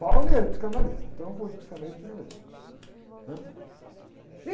ia no psicanalista, então eu vou de psicanalista para psicanalista, né? E...